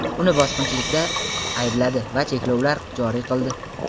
uni bosqinchilikda aybladi va cheklovlar joriy qildi.